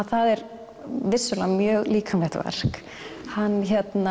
það er vissulega mjög líkamlegt verk hann